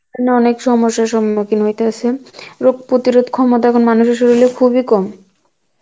অনেক সমসার সম্মুখীন হইতে হয়েসে, রোগ প্রতিরগ ক্ষমতা এখন মানুষের শরির এ খুব ই কম